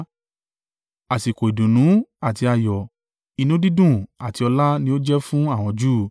Àsìkò ìdùnnú àti ayọ̀, inú dídùn àti ọlá ni ó jẹ́ fún àwọn Júù.